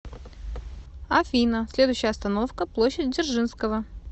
афина следующая остановка площадь дзержинского